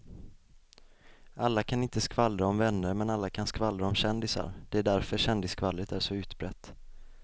Alla kan inte skvallra om vänner men alla kan skvallra om kändisar, det är därför kändisskvallret är så utbrett.